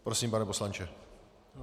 Prosím, pane poslanče.